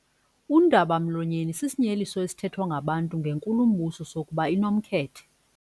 Undaba-mlonyeni sisinyeliso esithethwa ngabantu ngenkulumbuso sokuba inomkhethe.